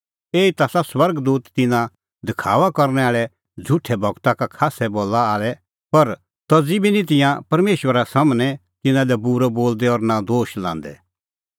एही ता आसा स्वर्ग दूत तिन्नां दखाअ करनै आल़ै झ़ुठै गूरू का खास्सै बला आल़ै पर तज़ी बी निं तिंयां परमेशरा सम्हनै तिन्नां लै बूरअ बोलदै और नां दोश लांदै